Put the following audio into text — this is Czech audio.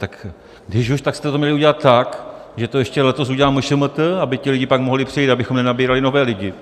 Tak když už, tak jste to měli udělat tak, že to ještě letos udělá MŠMT, aby ti lidé pak mohli přejít, abychom nenabírali nové lidi.